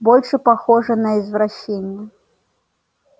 больше похоже на извращение